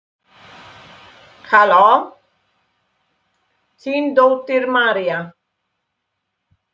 Þín dóttir, María.